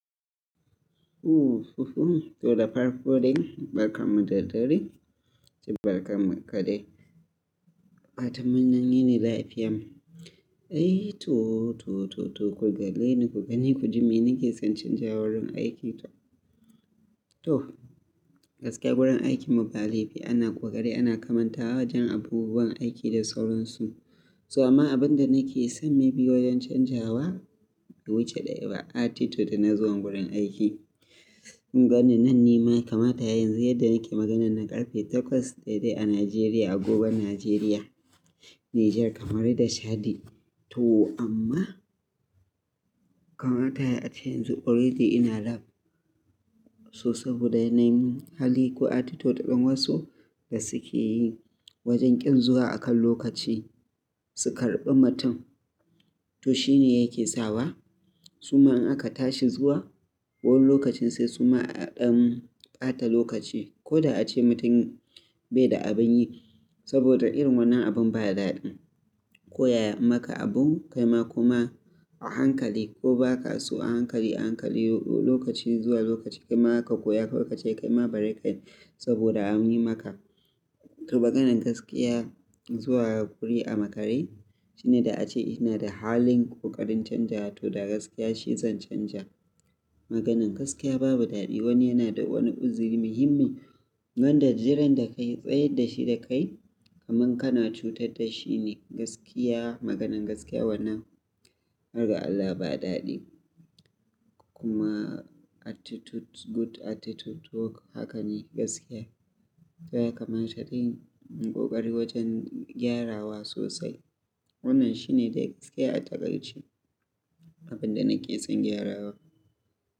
Ooh fufu to da farko dai barka mu da dare, ji barka mu kaɗai. A fatanmun yini lafiyan. Ai to, to, to, to ku gani ku gani ku ji me nake son canjawar wurin aiki to. To gaskiya wurin aikin mu ba laifi ana ƙoƙari ana kamantawa wajen abubuwan aiki da sauransu. Toh ma abin da nake son maybe wajen canjawa wuce da yaba attitude na zuwan wurin aiki. Kun gani nan ni ma kamata yanzu yadda nake maganan na ƙarfe takwas daidai a Nigeria, a Gogon Nigeria. Niger kamaru da Chadi to amma kamata yace yanzu already ina lab. So saboda na yi min hali ko attitude ɗin wasu da suke yi wajen ƙin zuwa akan lokaci. Su karɓi mutum to shine yake sawa. Suma in aka tashi zuwa wani lokacin sai suma a ɗan ɓata lokaci. Ko da ace mutum bai da abin yi saboda irin wannan abun ba daɗi. Koyaya maka abun kaima kuma a hankali ko baka so a hankali a hankali lokaci zuwa lokaci kaima zaka koya kawai kace kaima bari kai saboda an yi maka. To maganan gaskiya zuwa wuri a makare shine da ace ina da halin ƙoƙarin canja to da gaskiya shi zan canja. Maganan gaskiya babu daɗi wani yana da wani uzuri muhimmin. Wanda jiran da ka yi tsayar da shi da kai kaman kana cutar da shi ne gaskiya maganan gaskiya wannan har ga Allah ba daɗi. Kuma attitude good attitude to haka ne gaskiya. To ya kamata yin ƙoƙari wajen gyarawa sosai. Wannan shine dai gaskiya a taƙaice abin da nake son gyarawa.